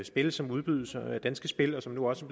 spil som udbydes af danske spil og som nu også